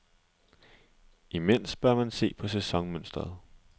Imens bør man se på sæsonmønsteret.